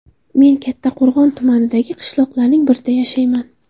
Men Kattaqo‘rg‘on tumanidagi qishloqlarning birida yashayman.